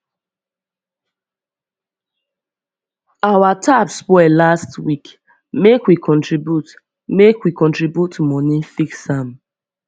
our tap spoil last week make we contribute make we contribute moni fix am